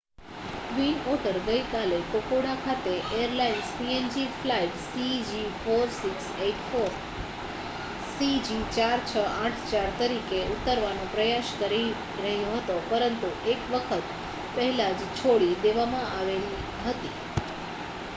twin otter ગઈકાલે Kokoda ખાતે airlines png flight cg4684 તરીકે ઉતરવાનો પ્રયાસ કરી રહ્યો હતો પરંતુ એક વખત પહેલા જ છોડી દેવામાં આવેલ હતી